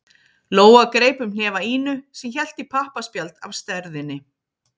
Lóa greip um hnefa Ínu sem hélt í pappaspjald af stærðinni